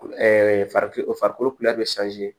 farikolo